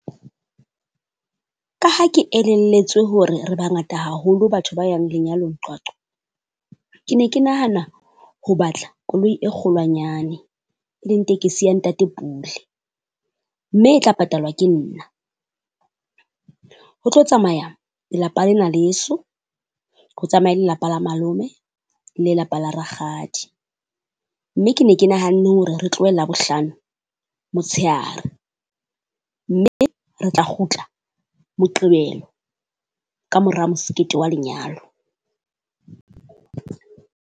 Ka ha ke elelletswe hore re bangata haholo batho ba yang lenyalong Qwaqwa, ke ne ke nahana ho batla koloi e kgolwanyane e leng tekesi ya ntate Pule. Mme e tla patalwa ke nna, ho tlo tsamaya lelapa lena leso ho tsamaye le lelapa la malome, lelapa la rakgadi. Mme ke ne ke nahanne hore re tlohe Labohlano motshehare mme re tla kgutla Moqebelo. Kamora mosekete wa lenyalo.